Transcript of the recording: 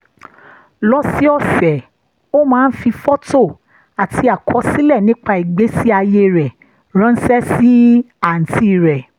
lọ́sọ̀ọ̀sẹ̀ ó máa ń fi fọ́tò àti àkọsílẹ̀ nípa ìgbésí ayé rẹ̀ ránṣẹ́ sí àǹtí rẹ̀